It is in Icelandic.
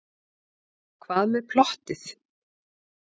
Hvað með plottið?